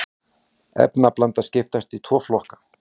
efnablanda skiptist í tvo flokka